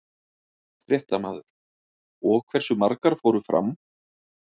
Fréttamaður: Og hversu margar fóru fram?